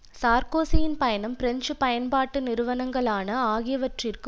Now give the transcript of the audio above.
சார்க்கோசியின் பயணம் பிரெஞ்சு பயன்பாட்டு நிறுவனங்களான ஆகியவற்றிற்கு